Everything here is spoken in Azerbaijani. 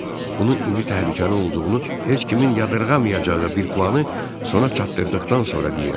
Bunu indi təhlükəli olduğunu heç kimin yadırğamayacağı bir planı sona çatdırdıqdan sonra deyirəm.